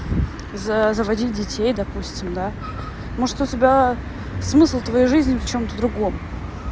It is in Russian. за заводить детей допустим да может у тебя смысл твоей жизни в чём-то другом